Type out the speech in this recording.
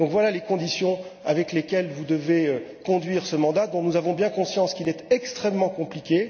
Voilà donc les conditions dans lesquelles vous devez conduire ce mandat, dont nous avons bien conscience qu'il est extrêmement compliqué.